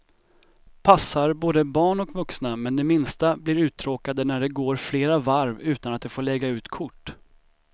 Passar både barn och vuxna, men de minsta blir uttråkade när det går flera varv utan att de får lägga ut kort.